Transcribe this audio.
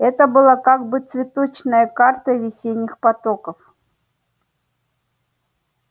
это была как бы цветочная карта весенних потоков